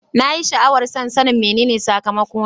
Na yi sha'awar son sanin menene sakamakona.